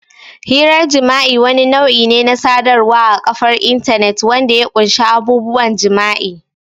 Hirar jima'i wani nau'i ne na sadarwar a kafar intanet wanda ya ƙunshi abubuwan jima'i.